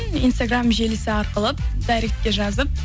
инстаграм желісі арқылы дайректке жазып